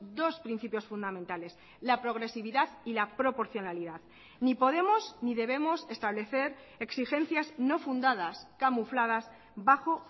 dos principios fundamentales la progresividad y la proporcionalidad ni podemos ni debemos establecer exigencias no fundadas camufladas bajo